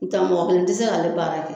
N tɛ mɔgɔ kelen tɛ se k'ale baara kɛ.